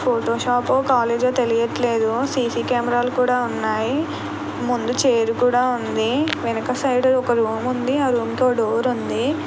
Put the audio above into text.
Photo shop ఓ college ఓ తెలియట్లేదు. సీసీ కెమెరాలు కూడా ఉన్నాయి. ముందు చైర్ కూడా ఉంది. వెనుక సైడ్ ఒక రూమ్ ఉంది. ఆ రూమ్ కో డోర్ ఉంది.